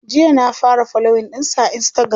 jiya na fara following ɗinsu a instagram